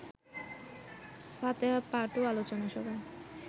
ফাতেহা পাঠ ও আলোচনা সভা